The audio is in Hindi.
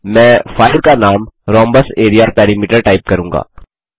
मैं फाइल को नाम rhombus area पेरीमीटर टाइप करूँगा